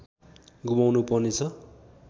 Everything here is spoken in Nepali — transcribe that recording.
गुमाउनु पर्नेछ